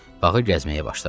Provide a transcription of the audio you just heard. Bağı gəzməyə başladı.